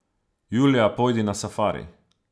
Julija pojdi na safari.